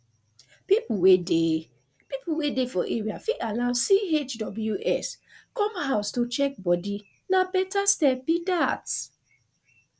people wey dey people wey dey for area fit allow chws come house to check body na better step be dat